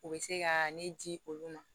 U bɛ se ka ne di olu ma